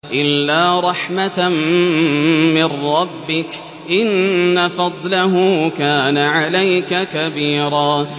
إِلَّا رَحْمَةً مِّن رَّبِّكَ ۚ إِنَّ فَضْلَهُ كَانَ عَلَيْكَ كَبِيرًا